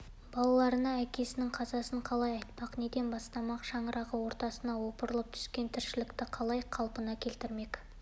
балаларына әкесінің қазасын қалай айтпақ неден бастамақ шаңырағы ортасына опырылып түскен тіршілікті қалай қалпына келтірмек